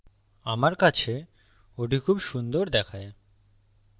আমার কাছে ওটি খুব সুন্দর দেখায়